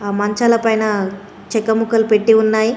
ఆ మంచాల పైన చెక్క ముక్కలు పెట్టి ఉన్నాయి.